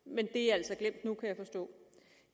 men det er altså glemt nu kan jeg forstå